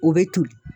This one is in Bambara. O bɛ toli